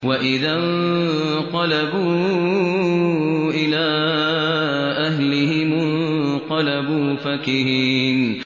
وَإِذَا انقَلَبُوا إِلَىٰ أَهْلِهِمُ انقَلَبُوا فَكِهِينَ